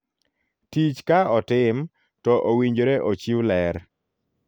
Tich ka otim ,to owinjore ochiw ler.